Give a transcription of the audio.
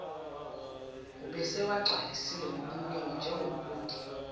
ubesewagcwalisile kokuningi njengobude